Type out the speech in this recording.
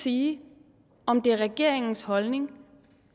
sige om det er regeringens holdning